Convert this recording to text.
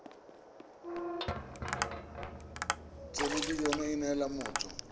thelebi ene e neela motho